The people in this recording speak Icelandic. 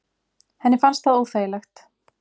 Henni fannst það óþægilegt.